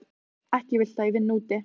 Ekki viltu að ég vinni úti.